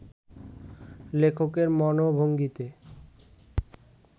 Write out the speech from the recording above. লেখকের মনোভঙ্গিতে